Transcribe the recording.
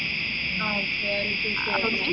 ആഹ് okay